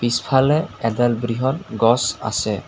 পিছফালে এডাল বৃহৎ গছ আছে।